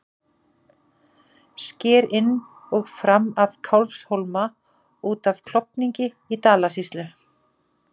Sker inn og fram af Kálfhólma út af Klofningi í Dalasýslu.